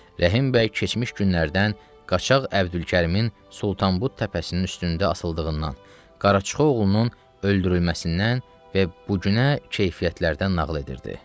Rəhimbəy keçmiş günlərdən qaçaq Əbdülkərimin Sultanbud təpəsinin üstündə asıldığından, Qaraçıxa oğlunun öldürülməsindən və bu günə keyfiyyətlərdən nağıl edirdi.